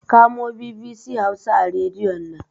Kamo BBC Hausa a Rediyon nan!